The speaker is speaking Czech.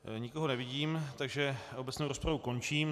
Nikoho nevidím, takže obecnou rozpravu končím.